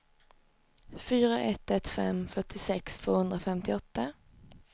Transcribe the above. fyra ett ett fem fyrtiosex tvåhundrafemtioåtta